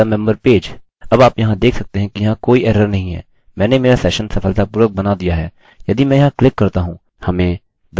youre in! Member page में enter करने के लिए यहाँ क्लिक करें अब आप यहाँ देख सकते हैं कि यहाँ कोई एरर नहीं है मैंने मेरा सेशन सफलतापूर्वक बना दिया है